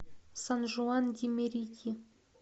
сан жуан ди мерити